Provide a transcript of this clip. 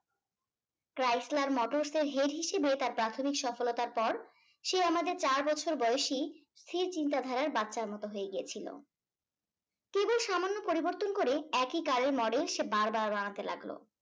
cryestler motors এর head হিসেবে তার প্রাথমিক সফলতার পর সে আমাদের চার বছর বয়সী সে চিন্তা ধারার বাচ্চার মতো হয়ে গিয়েছিলো কেবল সামান্য পরিবর্তন করে একিই car এর model সে বার বার বানাতে লাগলো